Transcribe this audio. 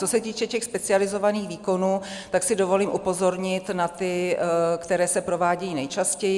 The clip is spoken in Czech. Co se týče těch specializovaných výkonů, tak si dovolím upozornit na ty, které se provádějí nejčastěji.